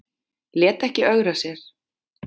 Lét ekki ögra sér